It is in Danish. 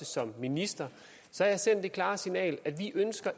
som minister sendt det klare signal at vi